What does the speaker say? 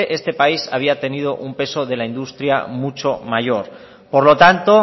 este país había tenido un peso de la industria mucho mayor por lo tanto